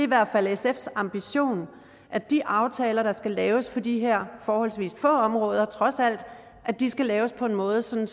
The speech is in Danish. hvert fald sfs ambition at de aftaler der skal laves på de her forholdsvis få områder trods alt skal laves på en måde sådan